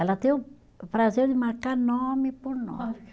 Ela tem o prazer de marcar nome por nome.